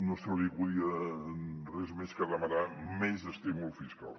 no se li acudia res més que demanar menys estímul fiscal